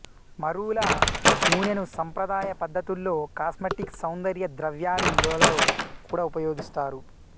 మరూల నూనెను సంప్రదాయ పద్ధతుల్లో కాస్మెటిక్స్ సౌందర్య ద్రవ్యాలు లలో కూడా ఉపయోగిస్తారు